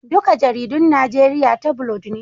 Duka jaridun Najeriya tabulod ne